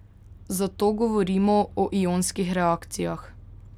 Zato govorimo o ionskih reakcijah.